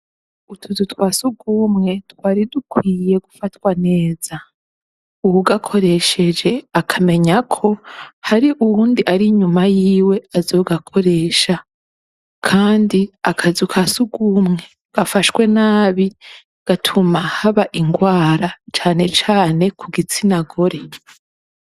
Utuzu twasugumwe twari dukwiye gufatwa neza .Ugakoresheje akamenya ko hari uwundi ari inyuma yiwe azogakoresha kandi akazu kasugumwe gafashwe nabi gatuma haba ingwara canecane kugitsina gore.